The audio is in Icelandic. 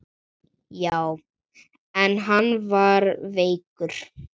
Já, en hann er veikur